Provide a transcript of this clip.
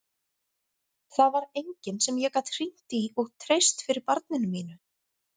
Það var enginn sem ég gat hringt í og treyst fyrir barninu mínu.